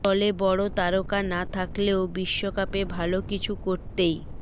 দলে বড় তারকা না থাকলেও বিশ্বকাপে ভালো কিছু করতেই